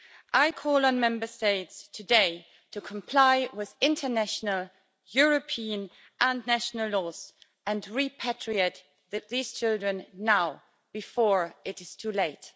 I call on Member States today to comply with international, European and national laws and repatriate these children now, before it is too late.